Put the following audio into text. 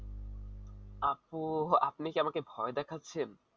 আপনি কি আমাকে ভয় দেখাচ্ছেন